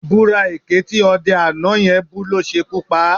Ìbúra èké tí ọdẹ àná yẹn bú ló ṣekú pa á